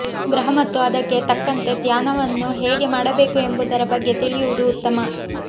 ಗ್ರಹ ಮತ್ತು ಅದಕ್ಕೆ ತಕ್ಕಂತೆ ಧ್ಯಾನವನ್ನು ಹೇಗೆ ಮಾಡಬೇಕು ಎಂಬುದರ ಬಗ್ಗೆ ತಿಳಿಯುವುದು ಉತ್ತಮ